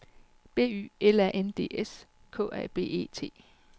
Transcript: B Y L A N D S K A B E T